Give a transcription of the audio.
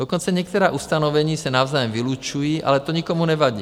Dokonce některá ustanovení se navzájem vylučují, ale to nikomu nevadí.